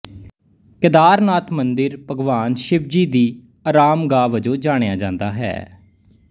ਕੇਦਰ ਨਾਥ ਮੰਦਰ ਭਗਵਾਨ ਸ਼ਿਵਜੀ ਦੀ ਅਰਾਮਗਾਹ ਵਜੋਂ ਜਾਣਿਆਂ ਜਾਂਦਾ ਹੈ